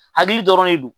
Hakili dɔrɔn de do